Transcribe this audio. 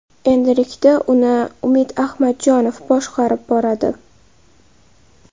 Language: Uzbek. Endilikda uni Umid Ahmadjonov boshqarib boradi.